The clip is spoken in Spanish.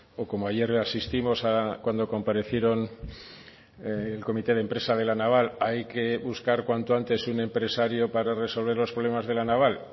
o como ayer asistimos cuando comparecieron el comité de empresa de la naval hay que buscar cuanto antes un empresario para resolver los problemas de la naval